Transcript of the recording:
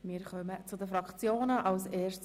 Wir kommen zu den Fraktionsvoten.